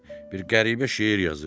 Bir qəribə şeir yazıb.